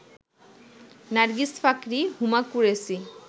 Nargis Fakhri, Huma Qureshi